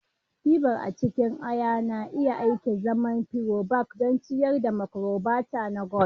Fiber a cikin ayana iya aiki azaman prebiotic don ciyar da microbiota na gut